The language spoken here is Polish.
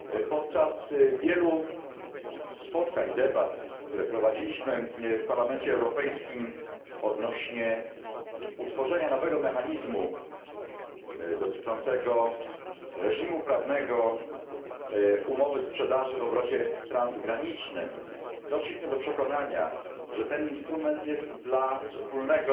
Podczas wielu spotkań i debat, które prowadziliśmy w Parlamencie Europejskim odnośnie do utworzenia nowego mechanizmu dotyczącego reżimu prawnego umowy sprzedaży w obrocie transgranicznym, doszliśmy do przekonania, że ten instrument jest dla wspólnego